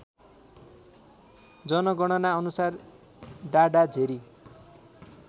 जनगणना अनुसार डाडाझेरी